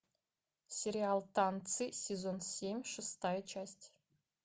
сериал танцы сезон семь шестая часть